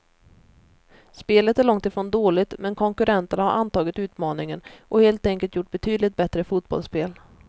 Spelet är långt ifrån dåligt, men konkurrenterna har antagit utmaningen och helt enkelt gjort betydligt bättre fotbollsspel.